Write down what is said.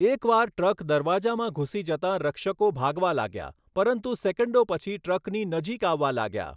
એક વાર ટ્રક દરવાજામાં ઘૂસી જતાં રક્ષકો ભાગવા લાગ્યા, પરંતુ સેકન્ડો પછી ટ્રકની નજીક આવવા લાગ્યા.